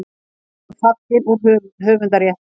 Myndin er fallin úr höfundarrétti.